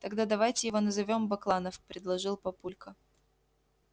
тогда давайте его назовём бакланов предложил папулька